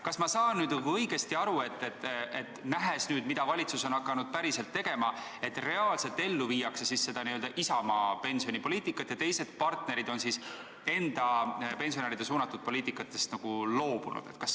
Kas ma saan õigesti aru, nähes nüüd, mida valitsus on hakanud päriselt tegema, et reaalselt viiakse ellu Isamaa pensionipoliitikat ja teised partnerid on enda pensionäridele suunatud poliitikast nagu loobunud?